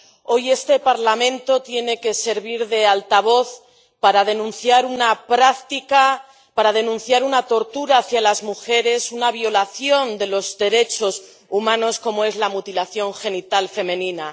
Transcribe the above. Hoy este Parlamento tiene que servir de altavoz para denunciar una práctica, para denunciar una tortura de las mujeres, una violación de los derechos humanos como es la mutilación genital femenina